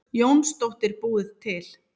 Jónsdóttir búið til.